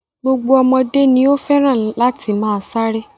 Gbogbo ọmọdé ni ó fẹ́ràn láti máa ṣeré.